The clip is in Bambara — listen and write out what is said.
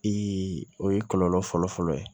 o ye kɔlɔlɔ fɔlɔfɔlɔ ye